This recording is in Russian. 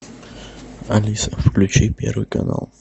алиса включи первый канал